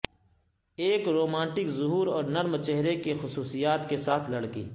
ایک رومانٹک ظہور اور نرم چہرے کی خصوصیات کے ساتھ لڑکی